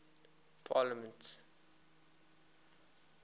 parliaments